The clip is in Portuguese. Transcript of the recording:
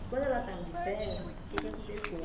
E quando ela estava de férias, o que é que aconteceu?